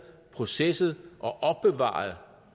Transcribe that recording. processeret og opbevaret